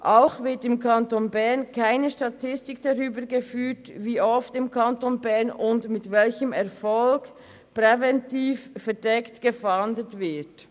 Auch wird im Kanton Bern keine Statistik darüber geführt, wie oft und mit welchem Erfolg im Kanton Bern präventiv verdeckt gefahndet wird.